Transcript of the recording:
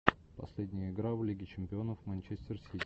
последняя игра в лиге чемпионов манчестер сити